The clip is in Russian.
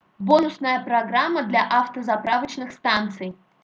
бонусная программа для автозаправочных станций